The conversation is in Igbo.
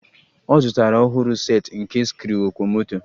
Ọ zụtara a ọhụrụ set nke sikruokwomoto